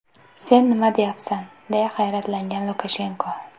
Sen nima deyapsan?”, deya hayratlangan Lukashenko.